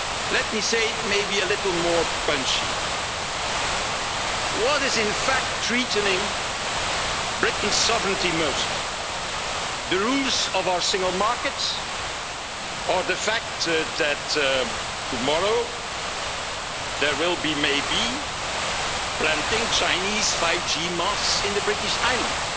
US? Let me say it maybe a little more punchily what is in fact threatening Britain's sovereignty most the rules of our single market or the fact that tomorrow there will be, maybe, the planting of Chinese 5G masts in the British Isles?